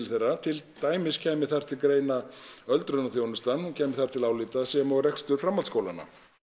þeirra til dæmis kæmi þar til greina öldrunarþjónusta hún kæmi þar til álita sem og rekstur framhaldsskólanna